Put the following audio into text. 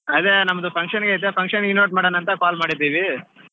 ಅದೇ ನಮ್ದು function ಗೆ ಐತೆ function ಗ್ invite ಮಾಡೋಣ ಅಂತ call ಮಾಡಿದ್ದೀವಿ.